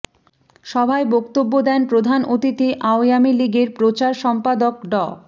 সভায় বক্তব্য দেন প্রধান অতিথি আওয়ামী লীগের প্রচার সম্পাদক ড